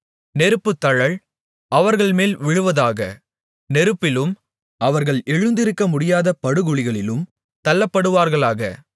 நெருப்புத்தழல் அவர்கள்மேல் விழுவதாக நெருப்பிலும் அவர்கள் எழுந்திருக்கமுடியாத படுகுழிகளிலும் தள்ளப்படுவார்களாக